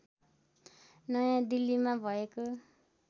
नयाँ दिल्लीमा भएको